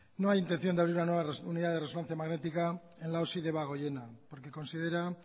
no hay intención de abrir una nueva unidad de resonancia magnética en el hospital de debagoiena porque considera